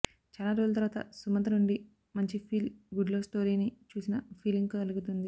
చాల రోజుల తర్వాత సుమంత్ నుండి మంచి ఫీల్ గుడ్ లవ్ స్టోరీ ని చూసిన ఫీలింగ్ కలుగుతుంది